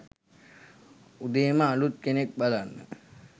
උදේම අලුත් කෙනෙක් බලන්න